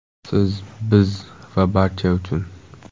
Siz, biz va barcha uchun!